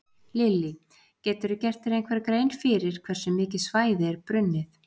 Lillý: Geturðu gert þér einhverja grein fyrir hversu mikið svæði er brunnið?